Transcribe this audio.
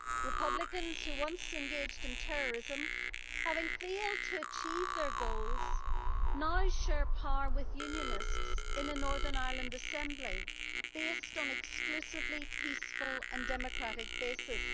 Republicans who once engaged in terrorism, having failed to achieve their goals, now share power with Unionists in a Northern Ireland Assembly, based on an exclusively peaceful and democratic basis.